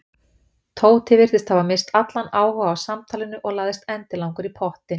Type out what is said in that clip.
Tóti virtist hafa misst allan áhuga á samtalinu og lagðist endilangur í pottinn.